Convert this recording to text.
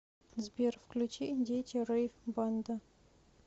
сбер включи дети рэйв банда